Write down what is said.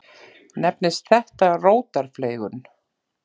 Nefnist þetta rótarfleygun.